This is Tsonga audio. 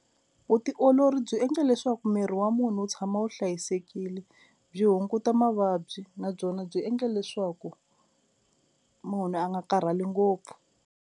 Vutiolori byi endla leswaku miri wa munhu wu tshama wu hlayisekile byi hunguta mavabyi na byona byi endle leswaku munhu a nga karhali ngopfu.